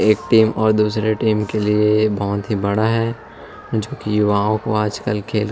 एक टीम और दूसरे टीम के लिए बहुत ही बड़ा है जो कि आजकल खेल--